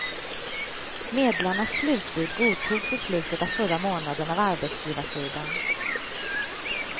Medlarnas slutbud godtogs i slutet av förra månaden av arbetsgivarsidan.